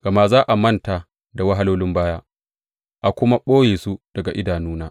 Gama za a manta da wahalolin baya a kuma ɓoye su daga idanuna.